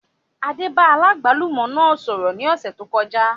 Adé bá aláàgbálùmọ́ náà sọ̀rọ̀ ní ọ̀sẹ̀ tó kọjá